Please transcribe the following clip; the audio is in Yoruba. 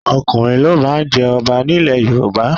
Ọkùnrin ló má ń jẹ ọba nílẹ̀ Yorùbá.